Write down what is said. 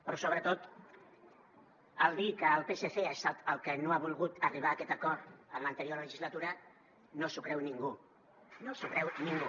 però sobretot el dir que el psc ha estat el que no ha volgut arribar a aquest acord en l’anterior legislatura no s’ho creu ningú no s’ho creu ningú